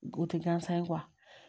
O tɛ gansan ye